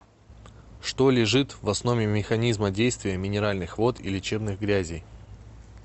что лежит в основе механизма действия минеральных вод и лечебных грязей